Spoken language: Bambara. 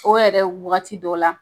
O yɛrɛ wagati dɔ la